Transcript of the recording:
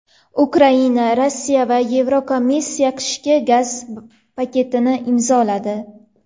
Ukraina, Rossiya va Yevrokomissiya qishki gaz paketini imzoladi.